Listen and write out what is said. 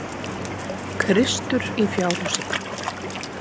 Kristur í fjárhúsi.